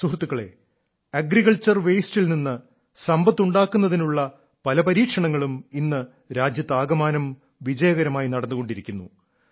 സുഹൃത്തുക്കളേ അഗ്രിക്കൾച്ചർ വേസ്റ്റിൽ നിന്ന് സമ്പത്തുണ്ടാക്കുന്നതിനുള്ള പല പരീക്ഷണങ്ങളും ഇന്ന് രാജ്യത്താകമാനം വിജയകരമായി നടന്നുകൊണ്ടിരിക്കുന്നു